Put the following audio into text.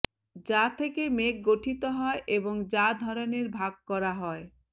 যা থেকে মেঘ গঠিত হয় এবং যা ধরনের ভাগ করা হয়